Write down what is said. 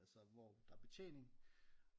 Altså hvor der er betjening